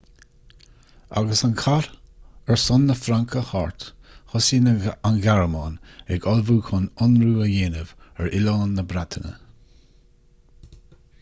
agus an cath ar son na fraince thart thosaigh an ghearmáin ag ullmhú chun ionradh a dhéanamh ar oileán na breataine